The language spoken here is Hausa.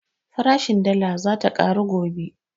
Farashin dala zata ƙaru gobe